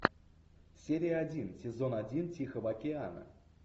серия один сезон один тихого океана